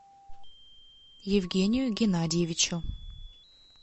евгению геннадьевичу